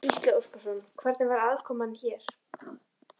Gísli Óskarsson: Hvernig var aðkoman hér?